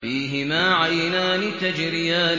فِيهِمَا عَيْنَانِ تَجْرِيَانِ